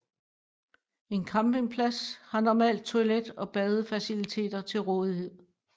En campingplads har normalt toilet og badefaciliteter til rådighed